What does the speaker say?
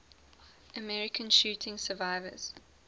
american shooting survivors